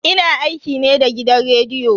Ina aiki ne da gidan rediyo.